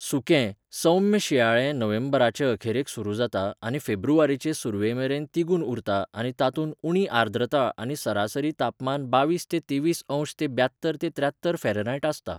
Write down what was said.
सुकें, सौम्य शिंयाळें नोव्हेंबराचे अखेरेक सुरू जाता आनी फेब्रुवारीचे सुरवेमेरेन तिगून उरता आनी तातूंत उणी आर्द्रता आनी सरासरी तापमान बावीस ते तेवीसअंश से ब्यात्तर ते त्र्यात्तर फॅरॅनहायट आसता.